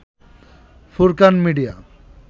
Furqan media